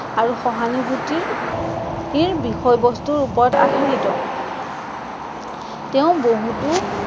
আৰু সহানুভুতি ইৰ বিষয়বস্তুৰ ওপৰত আধাৰিত। তেঁও বহুতো